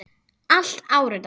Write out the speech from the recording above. Allt áritað.